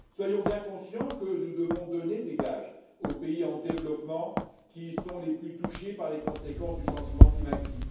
Soyons bien conscients que nous devons donner des gages aux pays en développement, qui sont les plus touchés par les conséquences du changement climatique.